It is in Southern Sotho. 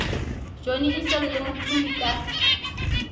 johnny issel le mthuli ka